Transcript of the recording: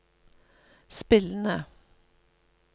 spillende